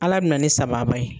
Ala bɛ na ni sababa ye.